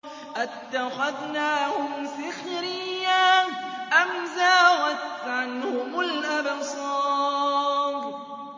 أَتَّخَذْنَاهُمْ سِخْرِيًّا أَمْ زَاغَتْ عَنْهُمُ الْأَبْصَارُ